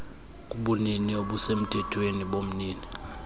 kubunini obusemthethweni bomnini